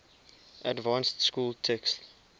advanced school text